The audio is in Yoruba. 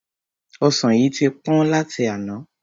Ọsan yìí tí pọ́n láti àná.